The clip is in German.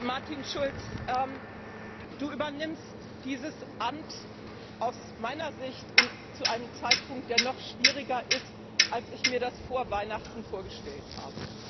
Martin Schulz, Du übernimmst dieses Amt aus meiner Sicht zu einem Zeitpunkt, der noch schwieriger ist, als ich mir das vor Weihnachten vorgestellt habe.